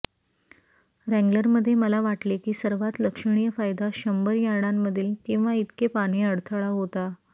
wrangler मध्ये मला वाटले की सर्वात लक्षणीय फायदा शंभर यार्डांमधील किंवा इतके पाणी अडथळा होता